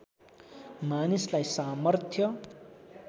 मानिसलाई सामर्थ्य